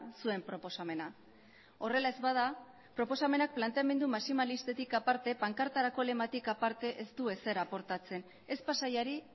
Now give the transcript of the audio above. zuen proposamena horrela ez bada proposamenak planteamendu maximilistetik aparte pankartarako lematik aparte ez du ezer aportatzen ez pasaiari